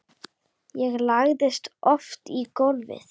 Ég lagðist oft í gólfið.